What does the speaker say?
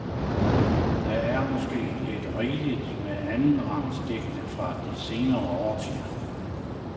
Der er måske lidt rigeligt med anden rangs digte fra de seneste årtier.